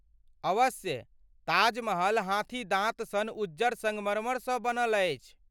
अवश्य ,ताजमहल हाथी दाँत सन उज्जर संगमरमरसँ बनल अछि।